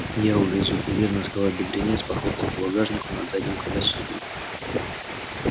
я увезу уверенно сказал бедренец похлопав по багажнику над задним колесом